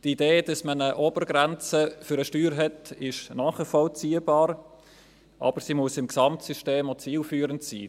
Die Idee, dass man eine Obergrenze für eine Steuer hat, ist nachvollziehbar, aber sie muss im Gesamtsystem auch zielführend sein.